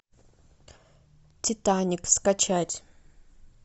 титаник скачать